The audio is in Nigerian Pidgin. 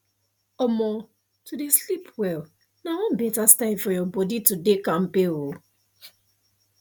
omo to dey sleep well na one better style for your body to dey kampke oh